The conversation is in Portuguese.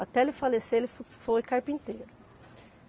Até ele falecer, ele fo foi carpinteiro.